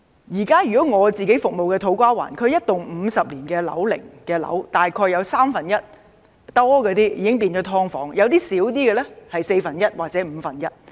以我現時服務的土瓜灣區而言，一幢50年樓齡的樓宇，大約有三分之一都變成"劏房"，有些面積較小的，是四分之一或五分之一。